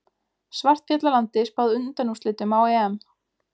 Svartfjallalandi spáð undanúrslitum á EM